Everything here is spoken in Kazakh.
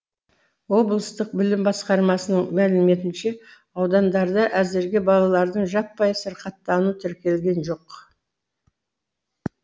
облыстық білім басқармасының мәліметінше аудандарда әзірге балалардың жаппай сырқаттануы тіркелген жоқ